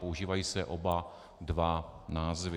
Používají se oba dva názvy.